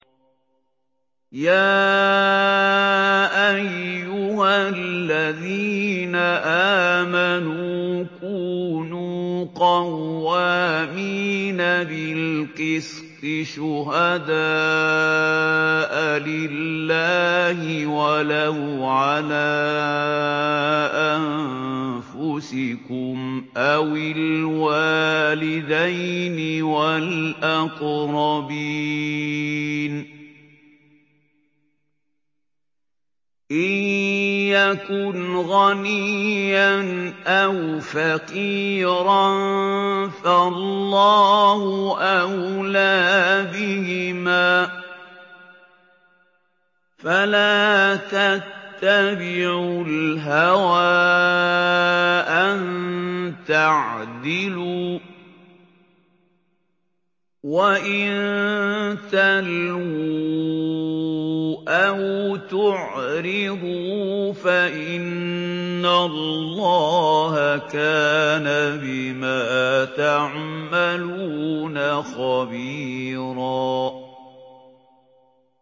۞ يَا أَيُّهَا الَّذِينَ آمَنُوا كُونُوا قَوَّامِينَ بِالْقِسْطِ شُهَدَاءَ لِلَّهِ وَلَوْ عَلَىٰ أَنفُسِكُمْ أَوِ الْوَالِدَيْنِ وَالْأَقْرَبِينَ ۚ إِن يَكُنْ غَنِيًّا أَوْ فَقِيرًا فَاللَّهُ أَوْلَىٰ بِهِمَا ۖ فَلَا تَتَّبِعُوا الْهَوَىٰ أَن تَعْدِلُوا ۚ وَإِن تَلْوُوا أَوْ تُعْرِضُوا فَإِنَّ اللَّهَ كَانَ بِمَا تَعْمَلُونَ خَبِيرًا